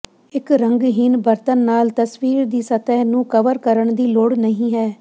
ਇੱਕ ਰੰਗਹੀਨ ਬਰਤਨ ਨਾਲ ਤਸਵੀਰ ਦੀ ਸਤਹ ਨੂੰ ਕਵਰ ਕਰਨ ਦੀ ਲੋੜ ਨਹੀਂ ਹੈ